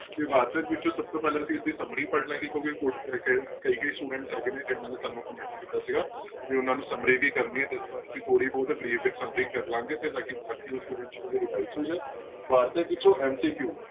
ਤੇ ਵਾਰਤਕ ਵਿੱਚੋਂ ਸਭ ਤੋਂ ਪਹਿਲਾਂ ਅਸੀਂ ਇਸਦੀ summary ਪੜ੍ਹ ਲਵਾਂਗੇ ਕਿਉਂਕਿ ਕਈ ਕਈ students ਹੈਗੇ ਨੇ ਜਿਹਨਾਂ ਨੇ ਸਾਨੂੰ comment ਕੀਤਾ ਸੀਗਾ ਵੀ ਉਹਨਾਂ ਨੇ summary ਵੀ ਕਰਨੀ ਹੈ ਤੇ ਇਸ ਵਾਰ ਅਸੀਂ summary ਕਰ ਲਵਾਂਗੇ ਤੇ ਤਾਂ ਕਿ ਬਾਕੀ ਦੇ students ਨੂੰ ਵੀ revise ਹੋ ਜਾਏ ਵਾਰਤਕ ਵਿੱਚੋਂ MCQ